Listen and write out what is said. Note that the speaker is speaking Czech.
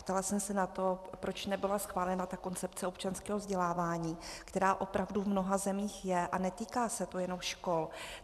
Ptala jsem se na to, proč nebyla schválena ta koncepce občanského vzdělávání, která opravdu v mnoha zemích je, a netýká se to jenom škol.